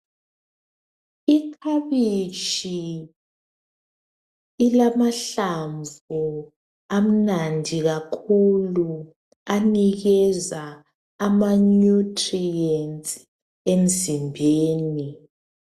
Ikhabitshi ilamahlamvu amnandi kakhulu anikeza amanutrients emzimbeni .